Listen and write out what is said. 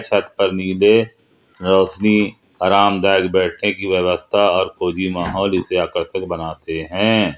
छत पर नीले रोशनी आरामदायक बैठने की व्यवस्था और फौजी माहौल इसे आकर्षक बनाते हैं।